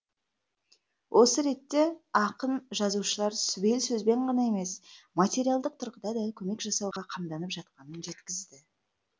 осы ретте ақын жазушылар сүбелі сөзбен ғана емес материалдық тұрғыда да көмек жасауға қамданып жатқанын жеткізді